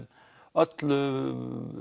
öllu